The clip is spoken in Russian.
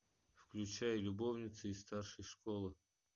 включай любовница из старшей школы